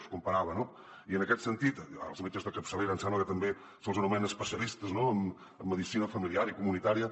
els comparava no i en aquest sentit als metges de capçalera em sembla que també se’ls anomena especialistes en medicina familiar i comunitària